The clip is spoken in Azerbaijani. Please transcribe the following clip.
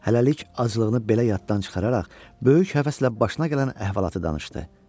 Hələlik acılığını belə yaddan çıxararaq, böyük həvəslə başına gələn əhvalatı danışdı.